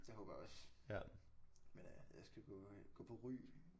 Det håber jeg også men øh jeg skal gå øh gå på Ry